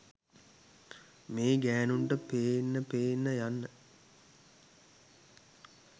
මේ ගෑනුන්ට පෙන්න පෙන්න යන්න